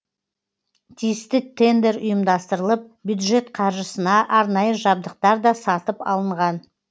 тиісті тендер ұйымдастырылып бюджет қаржысына арнайы жабдықтар да сатып алынған